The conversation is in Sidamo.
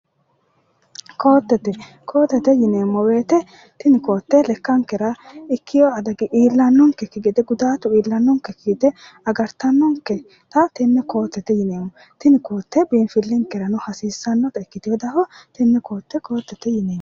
Ko"atte ko"atte yineemmo woyte tini ko"atte lekkankera ikkeyo adagi iillannonkekki gede gudaatu iillannonkekki gede agartannonketa tenne ko"attete yineemmo tini ko"atte biinfillinkerano hasiissannonkete tenne ko"atte ko"attete yineemmo